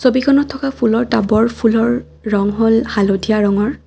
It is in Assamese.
ছবিখনত থকা ফুলৰ টাব ৰ ফুলৰ ৰঙ হ'ল হালধীয়া ৰঙৰ।